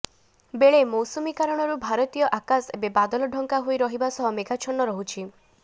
ବେଳେ ମୌସୁମୀ କାରଣରୁ ଭାରତୀୟ ଆକାଶ ଏବେ ବାଦଲ ଢ଼ଙ୍କା ହୋଇ ରହିବା ସହ ମେଘାଛନ୍ନ ରହୁଛି